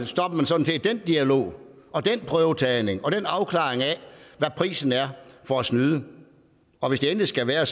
stopper man sådan set den dialog og den prøvetagning og den afklaring af hvad prisen er for at snyde og hvis det endelig skal være